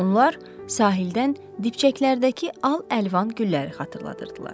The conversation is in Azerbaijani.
Onlar sahildən dibçəklərdəki al-əlvan gülləri xatırladırdılar.